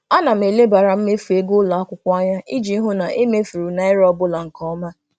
Ana m elebara mmefu ego ụlọakwụkwọ anya iji hụ na e mefuru naira ọbụla nke ọma.